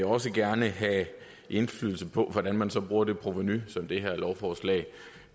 også gerne have indflydelse på hvordan man så bruger det provenu som det her lovforslag